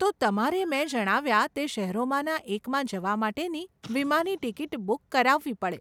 તો તમારે મેં જણાવ્યા તે શહેરોમાંના એકમાં જવા માટેની વિમાની ટીકીટ બુક કરાવવી પડે.